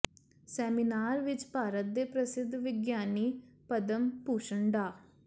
seminar ਵਿੱਚ ਭਾਰਤ ਦੇ ਪ੍ਰਸਿੱਧ ਵਿਗਿਆਨੀ ਪਦਮ ਭੂਸ਼ਨ ਡਾ